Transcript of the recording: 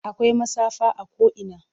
Akwai matsafa a ko'ina.